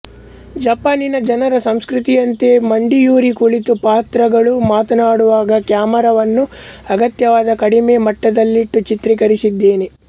ಜಪಾನಿನ ಜನರ ಸಂಸ್ಕ್ರತಿಯಂತೆ ಮಂಡಿಯೂರಿ ಕುಳಿತು ಪಾತ್ರಗಳು ಮಾತನಾಡುವಾಗ ಕ್ಯಾಮೆರಾವನ್ನು ಅಗತ್ಯವಾದ ಕಡಿಮೆ ಎತ್ತರದಲ್ಲಿಟ್ಟು ಚಿತ್ರೀಕರಿಸಿದ್ದಾನೆ